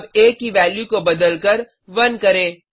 अब आ की वैल्यू को बदलकर 1 करें